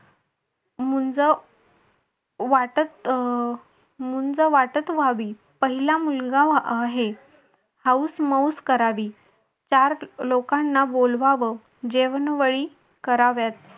मुंज वाटत अह मुंज वाटप व्हावी पहिला मुलगा आहे. हाऊस मौस करावी चार लोकांना बोलवावं जेवणवळी कराव्यात.